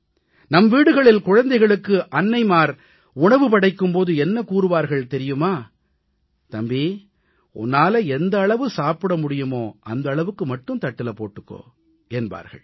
நம் வீடுகளில் குழந்தைகளுக்கு அன்னை உணவு படைக்கும் போது என்ன கூறுவார் தெரியுமா தம்பி உன்னால் எந்த அளவு சாப்பிட முடியுமோ அந்த அளவுக்கு மட்டும் தட்டுல போட்டுக்கோ என்பாள்